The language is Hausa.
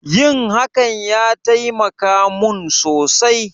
Yin hakan ya taimaka mun sosai